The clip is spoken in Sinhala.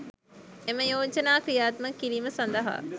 එම යෝජනා ක්‍රියාත්මක කිරීම සඳහා